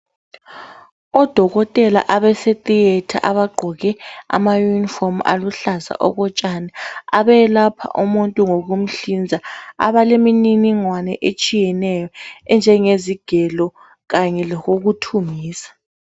Odokotela abase theater abagqqoke ama uniform aluhlaza okotshani abelapha umuntu ngokumhlinza abalemininingwane etshiyeneyo enjengezigelo kanye lokokuthungisa.